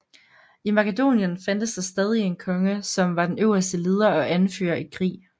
I Makedonien fandtes der stadig en konge som var den øverste leder og anfører i krig